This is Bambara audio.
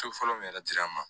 So fɔlɔ min yɛrɛ dira an ma